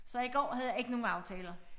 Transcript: Så i går havde jeg ikke nogen aftaler